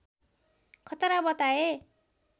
खतरा बताए